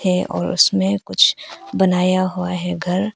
ऐ और उसमें कुछ बनाया हुआ है घर।